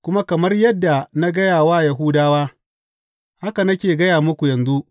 Kuma kamar yadda na gaya wa Yahudawa, haka nake gaya muku yanzu.